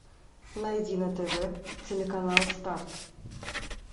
найди на тв телеканал старт